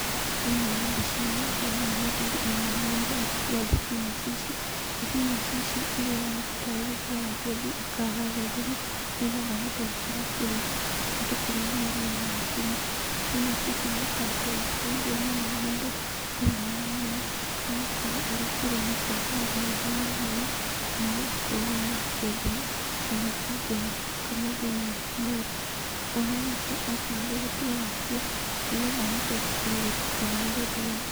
Thĩinĩ wa mbica ĩno ndĩrona mũthuri ainamĩrĩire agĩtua thibinaci ici. Thibinaci ici iria aroneka tarĩ gũtua aratua athiĩ akaharĩrĩrie nĩgetha akorwo akĩruga ahote kũrĩyanĩria na ngima. Thibinaci ici nĩikoretwo igĩteithia mũno mũndũ thĩinĩ wa mwĩrĩ nĩgũkorwo ũrĩ kũrĩa nĩũgũkorwo na ũgima mwega wa mwĩrĩ na ũgakorwo wĩna afya njega ona ikaongerera thakame thĩinĩ wa mwĩrĩ. Aroneka ta arĩ gũtua aratua nĩgetha ahote gũthiĩ kũharĩrĩria.